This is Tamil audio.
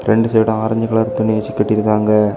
ரெண்டு சைடும் ஆரஞ்சு கலர் துணி வெச்சு கட்டி இருக்காங்க.